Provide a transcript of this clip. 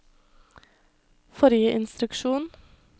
forrige instruksjon